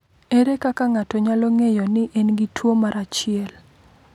Ere kaka ng’ato nyalo ng’eyo ni en gi tuwo mar 1?